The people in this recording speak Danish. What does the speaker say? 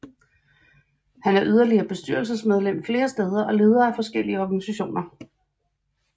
Han er yderligere bestyrelsesmedlem flere steder og leder af forskellige organisationer